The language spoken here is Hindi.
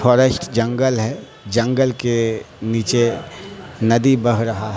फॉरेस्ट जंगल है जंगल के नीचे नदी बह रहा--